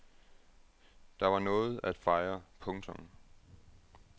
Der var noget at fejre. punktum